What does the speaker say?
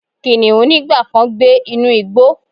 Kiniun nigba kan gbe inu igbo